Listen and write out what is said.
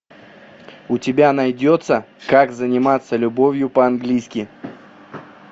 у тебя найдется как заниматься любовью по английски